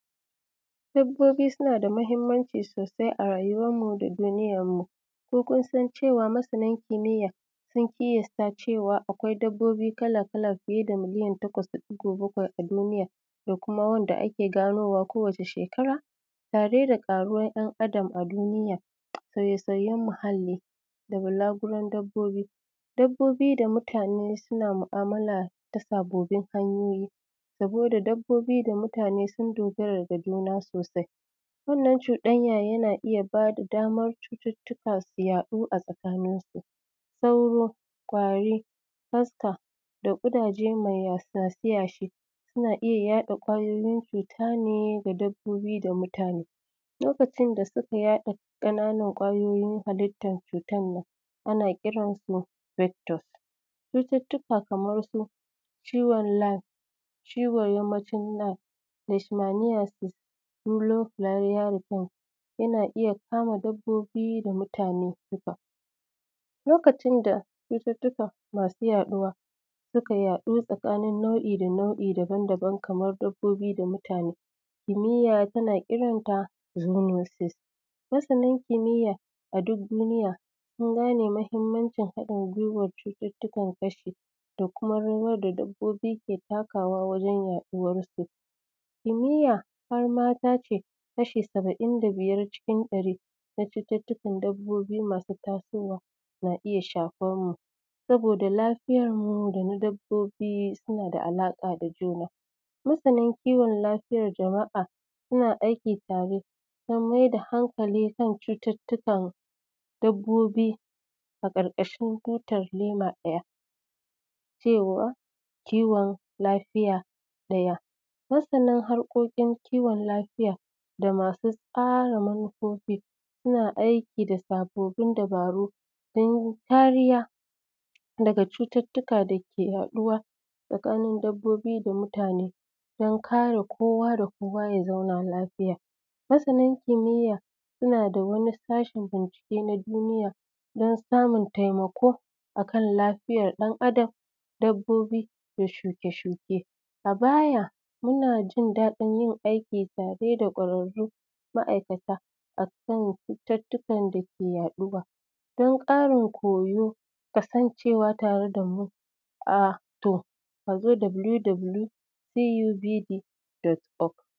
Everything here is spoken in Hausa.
Dabboi suna da mahinmanci sosai a rayuwanmu da duniyar mu ko kun san cewa masanan kimiya sun cewa akwia dabbobi kala-kala fiye da milliyan takwas da ɗugo bakwai a duniya da kuma wanda ake ganowa kowace shekara na ɗai da ƙaruwan ɗan’Adama duniya sauye-sauyen. Muhalli da banguran dabbobi, dabbobi da mutane suna mu’amala ta sabobin hanyoyi saboda dabbobi da mutane suna dogara da juna sosai wannan cuɗanya na ba da daman cututtuka su haɗu tsakanin su, sauro, kwari, kaska da ƙudaje masu yashe-yashe suna iya yaɗa kwayoyin cuta ne da dabbob da mutane lokacin da suka yaɗa ƙananan kwayoyin halitan su. Ana kiransu bektos, cututtuka kamar su ciwon lak, ciwon yamacin lak da sinaniyasi, muglokiyayine yana ko iya sama dabbobi da mutane duka lokaci da cututtuka masu yaɗuwa suka yaɗu tsakanin nau’in daban-daban kama dabbobi da mutane, kimiya tana kiransa zumojis masani kimiya a duk duniya sun gane mafi mahinmancin haɗin giwan cututtukan gashi da kuma rawan da dabbobi ke takawa wajen yaɗuwarsu. Kimiya har ma ta ce kashi saba’in da biyar cikin ɗari na cuuttukan dabbobi masu tasowa na iya shafan mu saboda lafiyar mu da dabbobi suna da alaƙa da juna, masanin kiwon lafiyan jama’a suna aiki tare don mai da hankali akan cututtukan dabbobi a ƙarƙashin cutan lima, iya cewa ciwon lafiya ɗaya masanin harkokin kiwon lafiya da masu tsara manufofi suna aiki da sababbin dubaru domin kariya daga cututtuka dake yaɗuwa tsakanin dabbobi da mutane. Don kare kowa da kowa ya zauna lafiya masanin kimiya suna da wani sashin bincike na duniya dan alamun taimako akan lafiyan ɗan’Adam, dabboi da shuke-shuke a baya muna jin daɗin yin aiki tare da kwararru ma’aikata akan cututtukan dake yaɗuwa don ƙarin koyo kasancewa tare da mu a to a zo wwcubd.kom.